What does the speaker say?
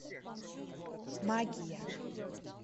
магия